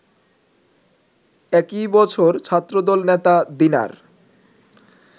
একই বছর ছাত্রদল নেতা দিনার